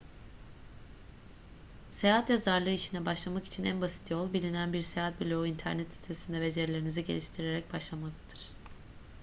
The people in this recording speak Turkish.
seyahat yazarlığı işine başlamak için en basit yol bilinen bir seyahat blogu internet sitesinde becerilerinizi geliştirerek başlamaktır